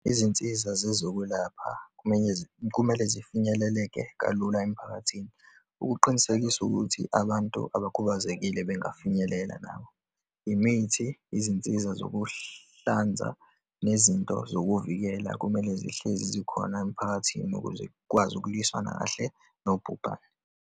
Izinsiza zezokwelapha kumele zifinyeleleke kalula emphakathini, ukuqinisekisa ukuthi abantu abakhubazekile bengafinyelela nabo. Imithi, izinsiza zokuhlanza, nezinto zokuvikela, kumele zihlezi zikhona emphakathini ukuze ukwazi ukulwisana kahle nobhubhane.